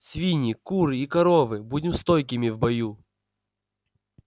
свиньи куры и коровы будем стойкими в бою